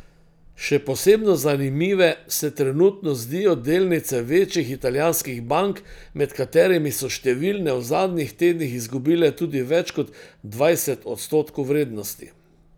Še posebno zanimive se trenutno zdijo delnice večjih italijanskih bank, med katerimi so številne v zadnjih tednih izgubile tudi več kot dvajset odstotkov vrednosti.